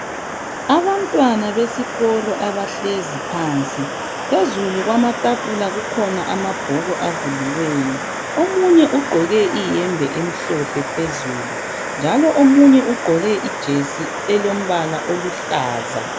Abantwana besikolo abahlezi phansi phezulu kwamatafula kukhona amabhuku avuliweyo omunye ugqoke iyembe emhlophe phezulu njalo omunye ugqoke ijesi elombala oluhlaza.